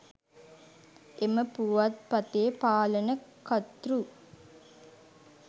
එම පුවත්පතේ පාලන කර්තෘ